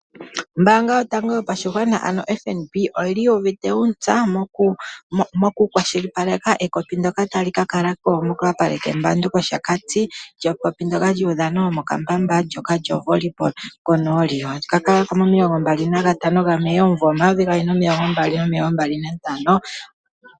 Ombaanga yotango yopashigwana ano oFNB oyi li yu uvite uuntsa mokukwashilipaleka ekopi ndyoka tali ka kala ko mokapale kEmbandu mOshakati. Ekopi ndyoka lyokatanga komokambamba, ndyoka lyoVolleyball konooli. Otali ka kala ko mo25 Mei 2025.